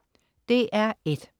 DR1: